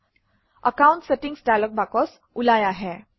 account settings dialog box ওলাই আহে